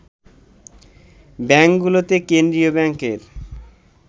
ব্যাংকগুলোতে কেন্দ্রীয় ব্যাংকের